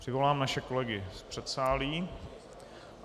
Přivolám naše kolegy z předsálí.